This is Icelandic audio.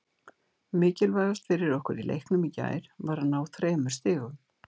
Mikilvægast fyrir okkur í leiknum í gær var að ná þremur stigum.